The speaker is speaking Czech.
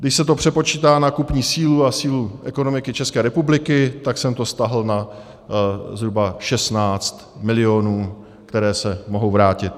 Když se to přepočítá na kupní sílu a sílu ekonomiky České republiky, tak jsem to stáhl na zhruba 16 milionů, které se mohou vrátit.